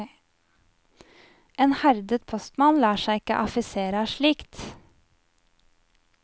En herdet postmann lar seg ikke affisere av slikt.